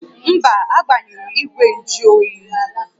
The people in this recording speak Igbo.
Mba, agbanyụrụ ígwè njụ oyi